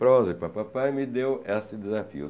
Prosa e papapá e me deu esse desafio.